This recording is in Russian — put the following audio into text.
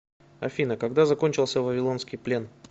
афина когда закончился вавилонский плен